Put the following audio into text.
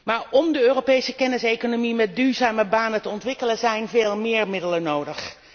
Maar om de Europese kenniseconomie met duurzame banen te ontwikkelen zijn veel meer middelen nodig.